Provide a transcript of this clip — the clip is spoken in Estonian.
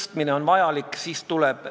Singapuris ei tohi tänaval käia, piibel kaenlas.